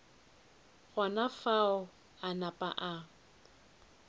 gona fao a napa a